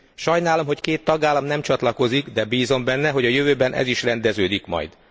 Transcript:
Sajnálom, hogy két tagállam nem csatlakozik, de bízom benne, hogy a jövőben ez is rendeződik majd.